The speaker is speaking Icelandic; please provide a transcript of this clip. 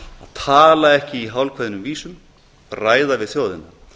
tala ekki í hálfkveðnum vísum ræða við þjóðina